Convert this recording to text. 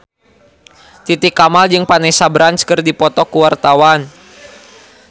Titi Kamal jeung Vanessa Branch keur dipoto ku wartawan